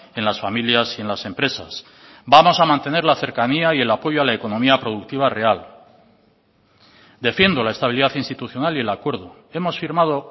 en las familias y en las empresas vamos a mantener la cercanía y el apoyo a la economía productiva real defiendo la estabilidad institucional y el acuerdo hemos firmado